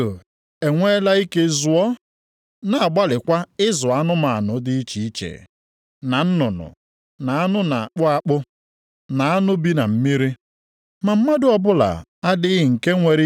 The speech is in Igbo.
ma mmadụ ọbụla adịghị nke nwere ike ịzụ ire. Ọ bụ ihe dị oke njọ na-adịghị ekwe nchịkọta, ma jupụtakwa na nsi na-ebute ọnwụ.